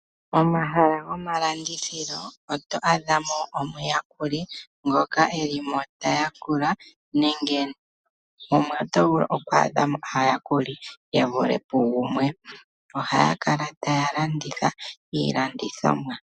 Momahala gomalandithilo oto adha mo omuyakuli ngoka e li mo ta yakula nenge mumwe oto vulu oku adha mo aayakuli ye vule pugumwe. Ohaya kala taya landitha iilandithomwa.